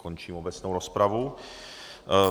Končím obecnou rozpravu.